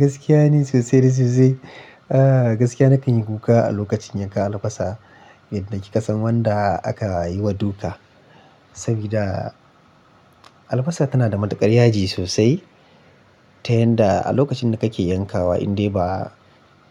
Gaskiya ne sosai da sosai. Gaskiya nakan yi kuka a lokacin yanka albasa idan kin san wanda aka yi wa duka. Saboda albasa tana da matuƙar yaji sosai, ta yanda a lokacin da kake yankawa in dai ba